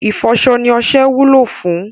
Ìfọṣọ ni ọṣẹ wúlò fún